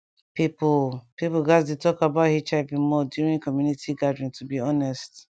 people people gatz dey talk about hiv more during community gathering to be honest